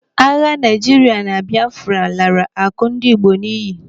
Agha Naijiria na Biafra lara akụ ndị Igbo n'iyi.